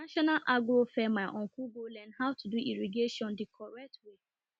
national agro fair my uncle go learn how to do irrigation the way